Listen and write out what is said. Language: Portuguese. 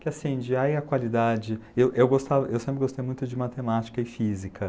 Que, assim, de aí a qualidade... Eu sempre gostei muito de matemática e física.